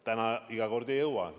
Nüüd iga kord ei jõua.